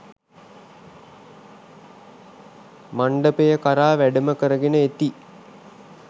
මණ්ඩපය කරා වැඩම කරගෙන එති.